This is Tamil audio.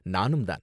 நானும் தான்.